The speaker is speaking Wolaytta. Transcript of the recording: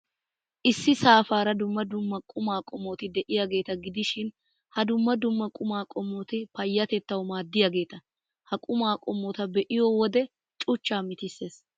Issi saafaara dumma dumma quma qommoti de'iyaageeta gidishin, ha dumma dumma quma qommoti payyatettawu maaddiyaageeta. Ha qumaa qommota be'iyoo wode cuchchaa mitissees.